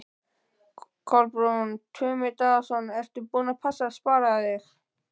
Kolbeinn Tumi Daðason: Ertu búin að passa að spara þig?